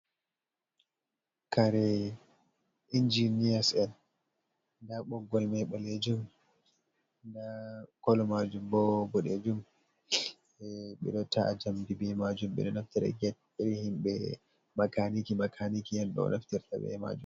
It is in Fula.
Kare injiniya en nda boggol mai ɓalejum nda kolo majum bo ɓoɗejum ɓeɗo ta’a jamdi be majum ɓeɗo naftira get erhin makaniki endo naftira be majum.